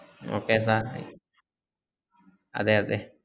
okay sir അതേ അതെ